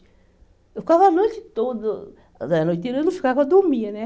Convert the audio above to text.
Eu ficava a noite toda, quer dizer a noite inteira eu não ficava, eu dormia, né?